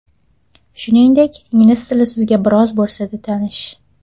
Shuningdek, ingliz tili sizga biroz bo‘lsa-da tanish.